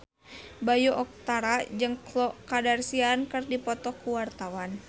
Bayu Octara jeung Khloe Kardashian keur dipoto ku wartawan